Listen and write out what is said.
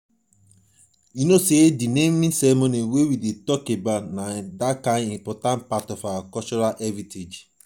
di naming ceremony na one kain important part of our cultural heritage